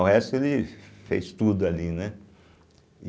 O resto, ele fez tudo ali, né. e